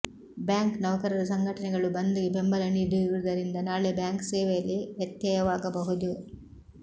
bank ನೌಕರರ ಸಂಘಟನೆಗಳು ಬಂದ್ ಗೆ ಬೆಂಬಲ ನೀಡಿರುವುದರಿಂದ ನಾಳೆ ಬ್ಯಾಂಕ್ ಸೇವೆಯಲ್ಲಿ ವ್ಯತ್ಯಯವಾಗಬಹುದು